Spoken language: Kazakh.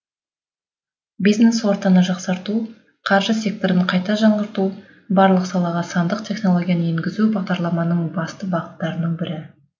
бизнес ортаны жақсарту қаржы секторын қайта жаңғырту барлық салаға сандық технологияны енгізу бағдарламаның басты бағыттарының бірі